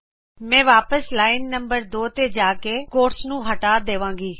ਮੈਂ ਵਾਪਿਸ line number 2 ਤੇ ਜਾਉਂਗੀ ਤੇ ਕੋਟਸ ਨੂੰ ਹਟਾ ਦੇਵਾਂਗੀ